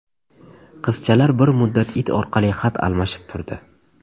Qizchalar bir muddat it orqali xat almashib turdi.